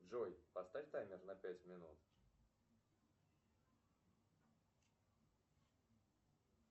джой поставь таймер на пять минут